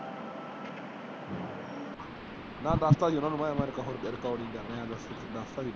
ਮੈ ਦੱਸਤਾ ਸੀ ਗਾ ਉਹਨਾਂ ਨੂੰ ।